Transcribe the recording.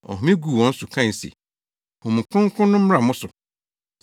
Ɔhome guu wɔn so kae se, “Honhom Kronkron no mmra mo so.